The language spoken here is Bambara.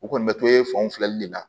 U kɔni bɛ to e fanw filɛli le la